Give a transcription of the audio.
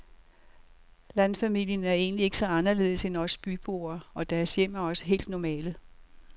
Landfamilien er egentlig ikke så anderledes end os byboer, og deres hjem er også helt normale.